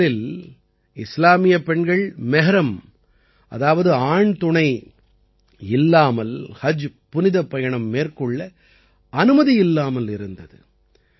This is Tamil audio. முதலில் இஸ்லாமியப் பெண்கள் மெஹ்ரம் அதாவது ஆண் துணை இல்லாமல் ஹஜ் புனிதப்பயணம் மேற்கொள்ள அனுமதி இல்லாமல் இருந்தது